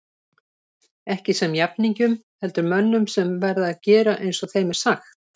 Ekki sem jafningjum heldur mönnum sem verða að gera eins og þeim er sagt.